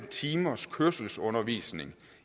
timers kørselsundervisning